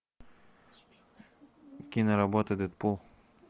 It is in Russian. киноработа дэдпул